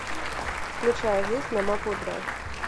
включай жизнь на мапл драйв